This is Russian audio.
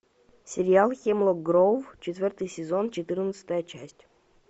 сериал хемлок гроув четвертый сезон четырнадцатая часть